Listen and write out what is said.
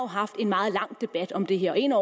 haft en meget lang debat om det her og en